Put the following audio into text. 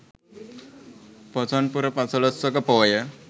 පොසොන් පුර පසළොස්වක පෝය